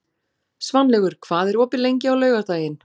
Svanlaugur, hvað er opið lengi á laugardaginn?